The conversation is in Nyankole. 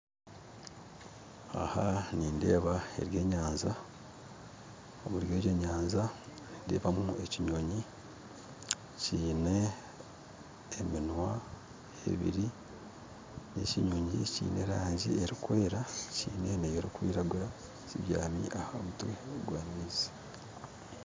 Aha nindeeba ebyenyanja omuri ebyenyanja nindeebamu ekinyonyi kiine eminwa ebiri ekinyonyi kiine rangyi erikwera kiine na ey'erikwiragura kibyami aha mutwe gwa amaizi